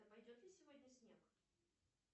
пойдет ли сегодня снег